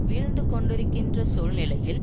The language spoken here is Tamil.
வீழ்ந்து கொண்டிருக்கின்ற சூழ்நிலையில்